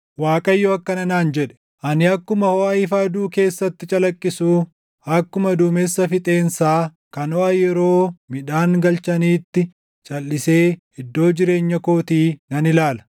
Waaqayyo akkana naan jedhe: “Ani akkuma hoʼa ifa aduu keessatti calaqqisuu, akkuma duumessa fixeensaa kan hoʼa yeroo midhaan galchaniitti calʼisee iddoo jireenya kootii nan ilaala.”